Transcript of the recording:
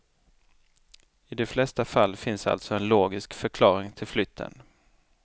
I de flesta fall finns alltså en logisk förklaring till flytten.